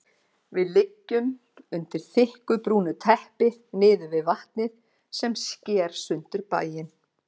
Við liggjum undir þykku brúnu teppi niðri við vatnið sem sker sundur bæinn.